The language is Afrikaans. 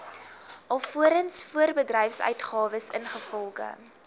alvorens voorbedryfsuitgawes ingevolge